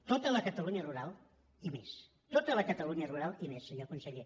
tota la catalunya rural i més tota la catalunya rural i més senyor conseller